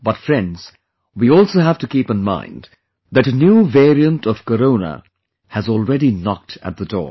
But friends, we also have to keep in mind that a new variant of Corona has already knocked at the door